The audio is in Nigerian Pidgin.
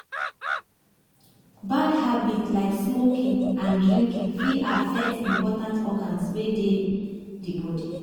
Bad habit like smoking and drinking fit affect important organs wey dey di body